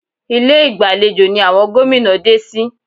Ilé ìgbàlejò ni àwọn gómìnà dé sí